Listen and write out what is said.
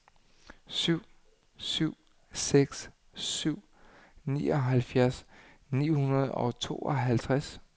syv syv seks syv nioghalvfjerds ni hundrede og tooghalvtreds